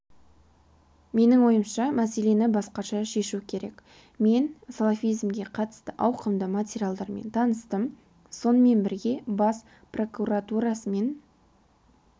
менің ойымша мәселені басқаша шешу керек мен салафизмге қатысты ауқымды материалдармен таныстым сонымен бірге бас прокуратурасымен